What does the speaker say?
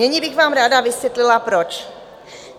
Nyní bych vám ráda vysvětlila proč.